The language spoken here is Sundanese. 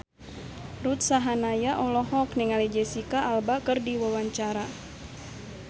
Ruth Sahanaya olohok ningali Jesicca Alba keur diwawancara